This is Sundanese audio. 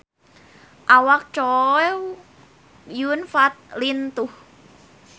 Awak Chow Yun Fat lintuh